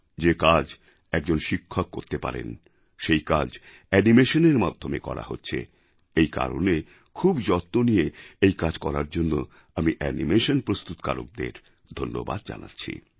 যে কাজ একজন শিক্ষক করতে পারেন সেই কাজ অ্যানিমেশনএর মাধ্যমে করা হচ্ছে এই কারণে খুব যত্ন নিয়ে এই কাজ করার জন্য আমি অ্যানিমেশন প্রস্তুতকারকদের ধন্যবাদ জানাচ্ছি